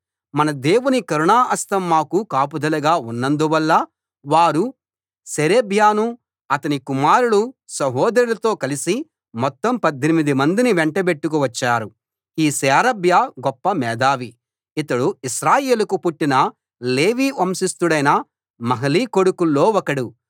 మన దేవుని కరుణా హస్తం మాకు కాపుదలగా ఉన్నందువల్ల వారు షేరేబ్యాను అతని కుమారులు సహోదరులతో కలిపి మొత్తం 18 మందిని వెంటబెట్టుకు వచ్చారు ఈ షేరేబ్యా గొప్ప మేధావి ఇతడు ఇశ్రాయేలుకు పుట్టిన లేవి వంశస్థుడైన మహలి కొడుకుల్లో ఒకడు